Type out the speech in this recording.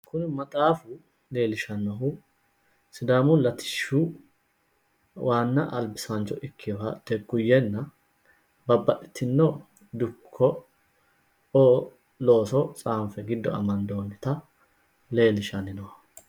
kuni maxaafu leellishannohu sidaamu latishshi waanna albisaancho ikkinoha teguyenna babbaxitinno dukko'o looso tsaanfe giddo amandoonnita leellishshanni nooho.